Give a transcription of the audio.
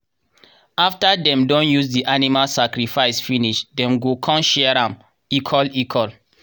after dem don use the animal sacrifice finish dem go con share am equal equal